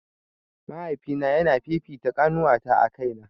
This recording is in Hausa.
Mahaifina yana fifita ƙanuwata a kaina